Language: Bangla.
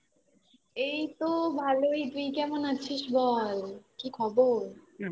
এই তো ভালোই আছি তুই কেমন আছিস বল কি খবর